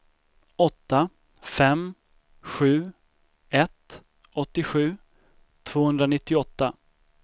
åtta fem sju ett åttiosju tvåhundranittioåtta